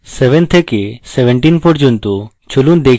7 থেকে 17 পর্যন্ত চলুন দেখি এটি কাজ করে কিনা